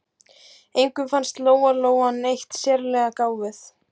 Engum fannst Lóa-Lóa neitt sérlega gáfuð.